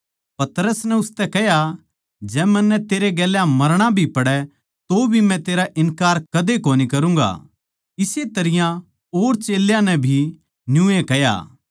पतरस नै उसतै कह्या जै मन्नै तेरै गेल्या मरणा भी पड़ै तौभी मै तेरा इन्कार कदे कोनी करूँगा इस्से तरियां और सारया नै भी कह्या